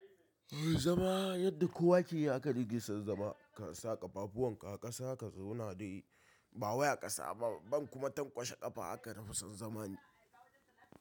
Zama yadda kowa ke yi aka nike son zama kasa ƙafafuwan ka a ƙasa ka zauna dai ba wai a ƙasa ba ban kuma tankwashe ƙafa haka nafi son zama ni.